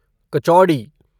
कचौड़ी